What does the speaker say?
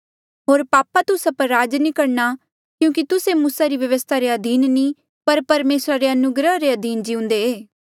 होर पापा तुस्सा पर राज नी करणा क्यूंकि तुस्से मूसा री व्यवस्था रे अधीन नी पर परमेसरा रे अनुग्रहा रे अधीन जिउंदे